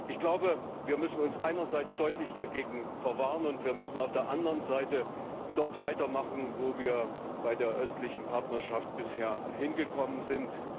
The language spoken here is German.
Ich glaube, wir müssen uns einerseits deutlich dagegen verwehren, und wir müssen auf der anderen Seite dort weitermachen, wo wir bei der Östlichen Partnerschaft bisher angelangt sind.